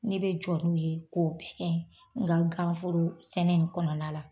Ne bɛ jɔ n'o ye k'o bɛ kɛ n ka ganforo sɛnɛ in kɔnɔna la.